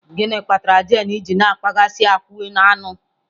Gịnị kpatara jane ji na-akpaghasị akwụ aṅụ?